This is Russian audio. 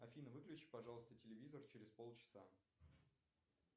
афина выключи пожалуйста телевизор через полчаса